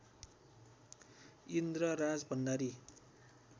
Indra Rajbhandari